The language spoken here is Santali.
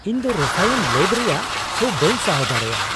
ᱤᱧᱫᱚ ᱨᱚᱥᱟᱭᱚᱱ ᱞᱮᱹᱵ ᱨᱮᱭᱟᱜ ᱥᱚ ᱵᱟᱹᱧ ᱥᱟᱦᱟᱣ ᱫᱟᱲᱮᱭᱟᱜᱼᱟ ᱾